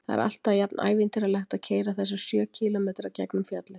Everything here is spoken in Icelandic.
Það er alltaf jafnævintýralegt að keyra þessa sjö kílómetra gegnum fjallið.